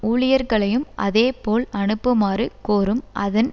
ஊழியர்களையும் அதேபோல் அனுப்புமாறு கோரும் அதன்